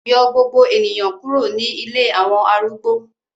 Yọ gbogbo eniyan kuro ni ilé awọn arúgbó